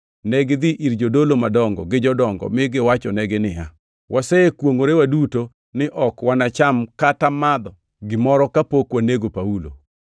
Negidhi ir jodolo madongo gi jodongo mi giwachonegi niya, “Wasekwongʼore waduto ni ok wanacham kata madho gimoro kapok wanego Paulo.